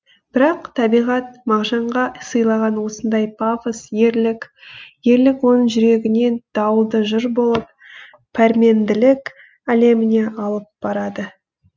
бірақ табиғат мағжанға сыйлаған осындай пафос ерлік ерлік оның жүрегінен дауылды жыр болып пәрменділік әлеміне алып барады